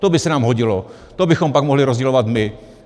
To by se nám hodilo, to bychom pak mohli rozdělovat my.